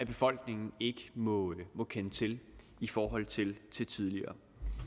befolkningen ikke må kende til i forhold til tidligere